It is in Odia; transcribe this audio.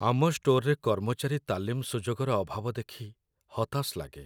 ଆମ ଷ୍ଟୋରରେ କର୍ମଚାରୀ ତାଲିମ ସୁଯୋଗର ଅଭାବ ଦେଖି ହତାଶ ଲାଗେ।